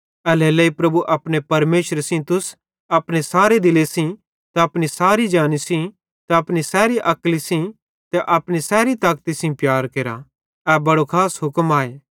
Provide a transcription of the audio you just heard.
एल्हेरेलेइ प्रभु अपने परमेशरे सेइं तुस अपने सारे दिले सेइं त अपनी सैरी जानी सेइं त अपनी सैरी अक्ली सेइं त अपनी सैरी ताकती सेइं प्यार केरा ए बड़ो खास हुक्म आए